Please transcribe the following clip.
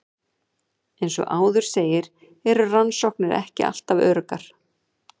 Eins og áður segir eru rannsóknir ekki alltaf öruggar.